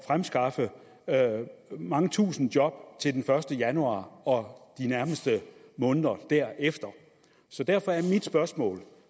fremskaffe mange tusinde job til den første januar og de nærmeste måneder derefter så derfor er mit spørgsmål